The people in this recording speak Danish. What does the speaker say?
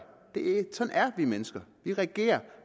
sådan er vi mennesker vi reagerer